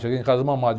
Cheguei em casa mamado.